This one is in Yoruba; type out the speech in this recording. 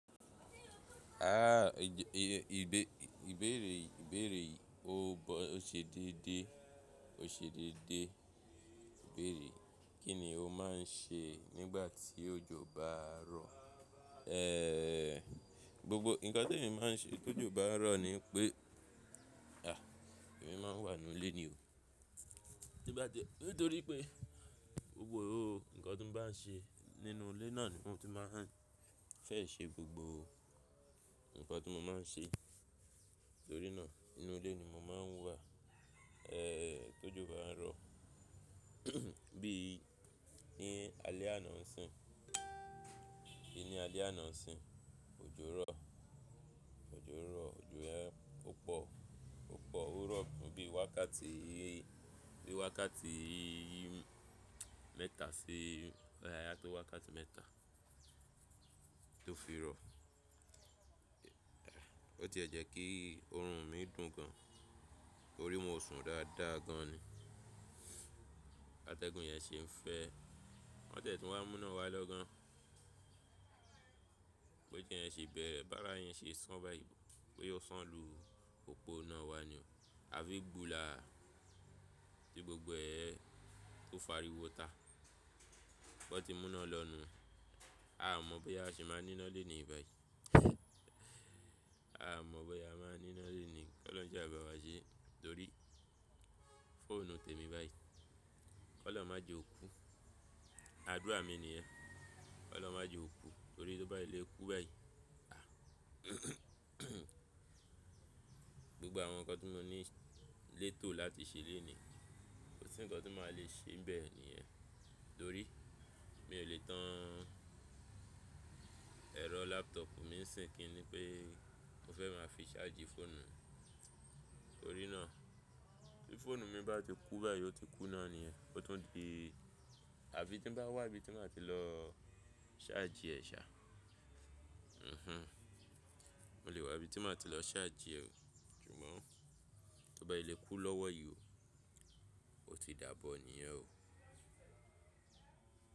A, ìbéèrè yìí ó ṣe déédé, ó ṣe déédé. Ìbéèrè, kí ni o máà ń ṣe nígbà tí òjò bá ń rọ̀? Ee, gbogbo nǹkan tí èmi máa ń ṣe tó òjò bá ń rọ̀ ni wípé, à, èmi máa ń wà nínú ilé ni o. Tí n bà tí nítorí pé gbogbo, nǹkan tí mo bá n ṣe nínú ilé náà ni mo tún máa ń fẹ́ ṣe gbogbo nǹkan tí mo máa ń ṣe. Torí náà nínú ilé ni mo máa ń wà, ee, tí òjò bá ń rọ̀. Bí i ní alẹ́ àná ń sìn, bí i ní alẹ́ àná ń sìn, òjò rọ̀, òjò rọ̀, òjò yẹn ó pọ̀, ó pọ̀ ó rọ̀ fún bí i wákàtí, bí i wákàtí mẹ́ta sí, bóyá átó wákàtí mẹ́ta tó fi rọ̀. Ó tiè jẹ́ kí oorun mi dùn gaan, torí mo sùn dáadáa gaan ni. Atẹ́gùn yẹn ṣe ń fẹ́, wọ́n tiẹ̀ tun wa mú iná wá lọ́ gaan. Bí òjò yẹn ṣe bẹ̀rẹ̀, bí àrá yẹn ṣe sán báyìí, bóyá ó sán lu òpó iná wa ni o. Àfi gbùlàà tí gbogbo ẹ, tó fariwo ta. Wọ́n ti mú iná lọ nùu. À ò mọ̀ bóyá a ṣì máa ní iná léní yìí báyìí. A ò mọ̀ bóyá a máa ní iná léni. Kí olórun sá bá wa sé torí fóònù tèmi báyìí. Kí olórun má jẹ kó okú. Àdúrà mi nìyẹn. Kí olórun má jẹ kó kú nítorí tó bá fi le kú báyìí, gbogbo àwọn nǹkan tí mo ní létò láti ṣe léni yìí, kò sí nǹkan tí màá le ṣe níbè nìyẹn. Torí mi ò lè tàn èrọ laptop mi ní sìn, kí n ní pé mo fẹ́ máa fi ṣáàjì fóònù mi. Torí náà, bí fóònù mi bá ti kú báyìí, ó ti kú náà nìyẹn. Ó tún di àfí tí mo bá wá ibi tí mo màá ti lọ ṣáàjì rè ṣá. Mhhm. Mo lè wá ibi tí mo màá ti lọ ṣáàjì rè o. Ṣùgbọ́n tó bá fì lé kú lọ́wọ́ yìí o, ó ti dàbọ̀ nìyẹn o.